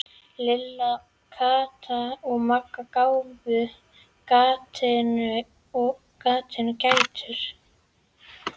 Lilla, Kata og Magga gáfu gatinu gætur.